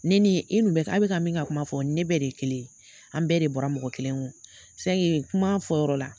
Ne ni e n'u bɛ ka a bɛ k'a bɛ ka min ka kuma fɔ, o ni ne bɛ de ye kelen ye. An bɛɛ de bɔra mɔgɔ kelen kun. kuma fɔ yɔrɔ la.